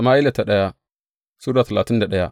daya Sama’ila Sura talatin da daya